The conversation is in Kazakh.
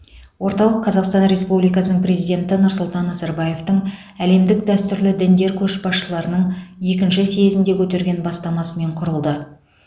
орталық қазақстан республикасының президенті нұрсұлтан назарбаевтың әлемдік дәстүрлі діндер көшбасшыларының екінші съезінде көтерген бастамасымен құрылды